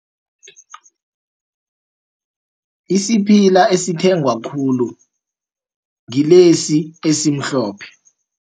Isiphila esithengwa khulu ngilesi esimhlophe.